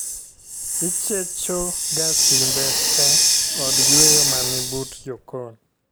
Ichecho ga simbe te od yueyo ma ni but jokon